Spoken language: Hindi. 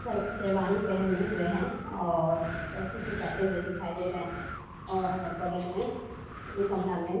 सब शेरवानी पहने हुए हैं और सेल्फी खीचाते हुए दिखाई दे रहें है और बगल में गमला में --